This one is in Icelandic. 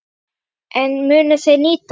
En munu þeir nýta hann?